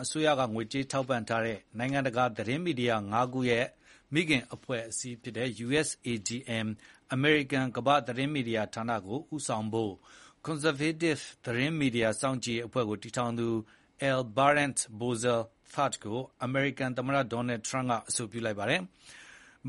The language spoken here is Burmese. အစိုးရက ငွေကြေးထောက်ပံ့ထားတဲ့ နိုင်ငံတကာသတင်းမီဒီယာ ၅ ခု ရဲ့ မိခင် အဖွဲ့အစည်းဖြစ်တဲ့ USAGM - အမေရိကန် ကမ္ဘာ့မီဒီယာဌာနကို ဦးဆောင်ဖို့ Conservative သတင်းမီဒီယာ စောင့်ကြည့်ရေးအဖွဲ့ကို တည်ထောင်ထားသူ L Brent Bozell III ကို အမေရိကန်သမ္မတ ဒေါ်နယ်ထရမ့်က အဆိုပြုလိုက်ပါတယ်။